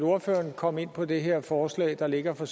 ordføreren kom ind på det her forslag der ligger fra